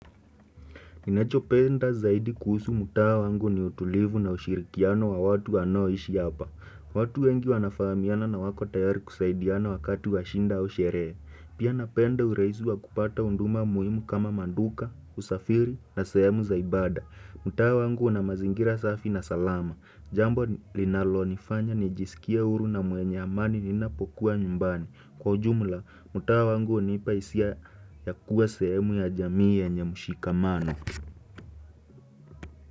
Ninacho penda zaidi kuhusu mtaa wangu ni utulivu na ushirikiano wa watu wanaoishi hapa. Watu wengi wanafahamiana na wako tayari kusaidiana wakati washida au sherehe. Pia napenda uraihisi wa kupata huduma muhimu kama maduka, usafiri na sehemu zaibada. Mtaa wangu una mazingira safi na salama. Jambo linalo nifanya nijisikie huru na mwenye amani ninapokuwa nyumbani. Kwa ujumla, mtaa wangu hunipa hisia ya kuwa sehemu ya jamii ya yenye mshikamano.